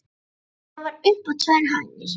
Það var upp á tvær hæðir.